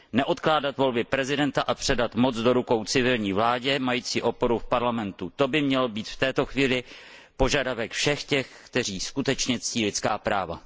Neodkládat volby prezidenta a předat moc do rukou civilní vládě mající oporu v parlamentu to by měl být v této chvíli požadavek všech těch, kteří skutečně ctí lidská práva.